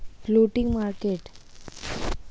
floating market.